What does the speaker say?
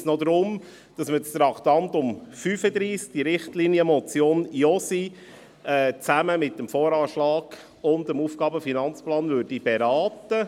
Es geht also nur noch darum, das Traktandum 35, die Richtlinienmotion Josi, zusammen mit dem VA und dem AFP zu beraten.